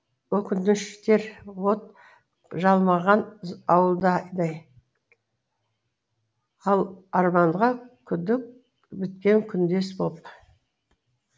өкініштер от жалмаған ауылдай ал ал арманға күдік біткен күндес боп